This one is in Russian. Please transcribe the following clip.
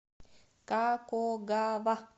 какогава